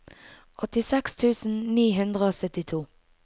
åttiseks tusen ni hundre og syttito